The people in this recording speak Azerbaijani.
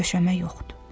Döşəmə yoxdur.